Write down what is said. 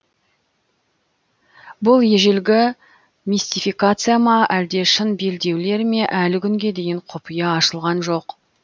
бұл ежелгі мистификация ма әлде шын белдеулер ме әлі күнге дейін құпия ашылған жоқ